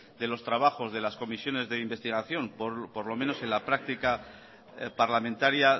de los trabajos de las comisiones de investigación por lo menos en la práctica parlamentaria